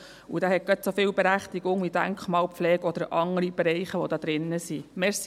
Denn dieser hat gerade so viel Berechtigung wie Denkmalpflege oder andere Bereiche, die hier drinstehen.